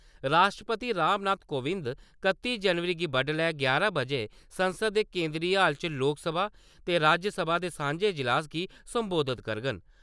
राश्ट्रपति राम नाथ कोविंद कत्ती जनवरी गी बड्डलै यारां बजे संसद दे केंदरी हाल च लोकसभा ते राज्यसभा दे सांझे इजलास गी संबोधत करङन।